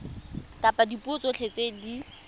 ka dipuo tsotlhe tse di